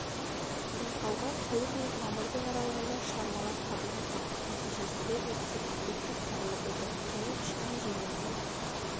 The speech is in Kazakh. байқауға сәуірдің мен мамырдың аралығында шығармалар қабылданған нәтижесінде эссе үздік деп танылып отыр соның ішінде жеңімпаз